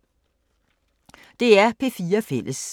DR P4 Fælles